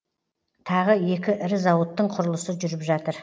тағы екі ірі зауыттың құрылысы жүріп жатыр